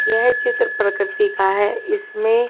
यह चित्र प्रकृति का है इसमें --